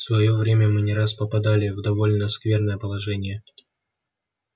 в своё время мы не раз попадали в довольно скверное положение